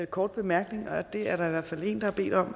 kort bemærkning det er der i hvert fald en der har bedt om